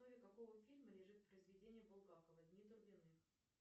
в основе какого фильма лежит произведение булгакова дни турбиных